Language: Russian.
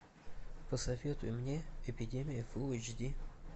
посоветуй мне эпидемия фул эйч ди